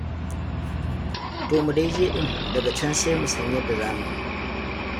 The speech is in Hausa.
To mu dai je ɗin, daga can sai mu san yadda za mu yi.